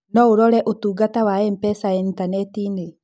No ũrore ũtungata wa M-pesa initaneti-inĩ.